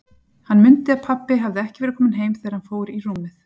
Hann mundi að pabbi hafði ekki verið kominn heim þegar hann fór í rúmið.